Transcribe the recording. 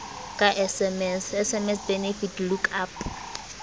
ka sms sms benefit lookup